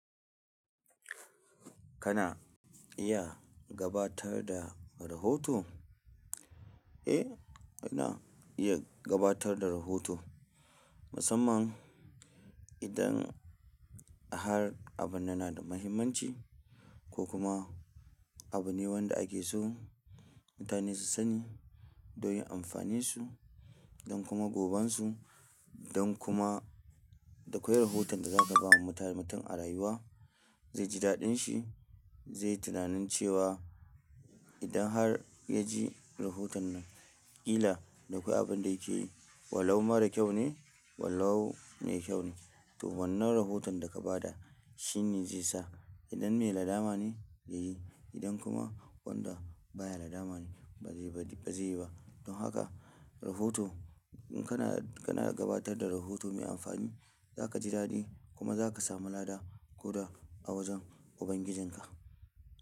Kana iya gabatar da rahoto? Eh, ina iya gabatar da rahoto. Musamman idan har abin yana da muhimmanci ko kuma abu ne wanda ake so mutane su sani don amfaninsu don kuma gobansu don kuma da akwai rahoton da za ta bawa mutun a rayuwa, zai ji daɗin shi, zai tunani cewa idan har ya ji rahoton nan ƙila dakwai abin da yake yi. Wallahu mara kyau ne, wallahu mai kyau ne. To wannan rahoton da ka ba da shine zai sa idan me lada ma ne ya yi, idan kuma wanda baya lada ma ne ba zai yi ba. Don haka rahoto in kana, kana gabatar da rahoto mai amfani za ka ji daɗi kuma za ka sami lada ko da a wajen Ubangijinka.